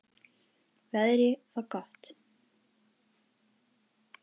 Veðrið var gott.